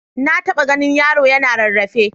Na taɓa ganin yaro yana rarrafe.